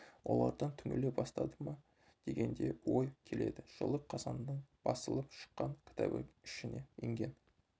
олардан түңіле бастады ма деген де ой келеді жылы қазаннан басылып шыққан кітабы ішіне енген